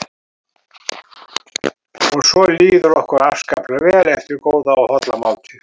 Og svo líður okkur afskaplega vel eftir góða og holla máltíð.